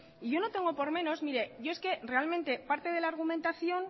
y yo no tengo por menos mire yo es que realmente parte de la argumentación